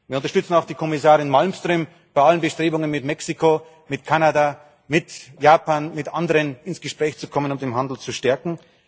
Wir unterstützen auch die Kommissarin Malmström bei allen Bestrebungen, mit Mexiko, mit Kanada, mit Japan, mit anderen ins Gespräch zu kommen und den Handel zu stärken.